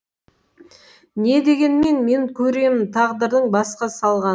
не дегенмен мен көремін тағдырдың басқа салғанын